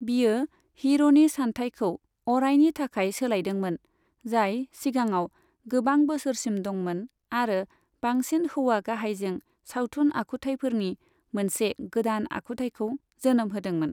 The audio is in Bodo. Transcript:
बियो हिर'नि सानथायखौ अरायनि थाखाय सोलायदोंमोन, जाय सिगांआव गोबां बोसोरसिम दंमोन आरो बांसिन हौवा गाहायजों सावथुन आखुथायफोरनि मोनसे गोदान आखुथायखौ जोनोम होदोंमोन।